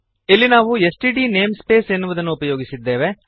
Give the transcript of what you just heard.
ಇಲ್ಲಿ ನಾವು STD namespace ಎನ್ನುವುದನ್ನು ಉಪಯೋಗಿಸಿದ್ದೇವೆ